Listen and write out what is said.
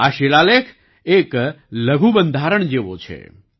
આ શિલાલેખ એક લઘુ બંધારણ જેવો છે